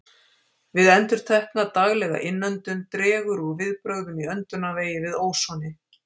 Við endurtekna, daglega innöndun dregur úr viðbrögðum í öndunarvegi við ósoni.